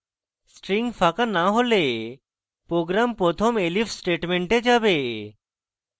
string ফাঁকা না হলে program প্রথম elif statement যাবে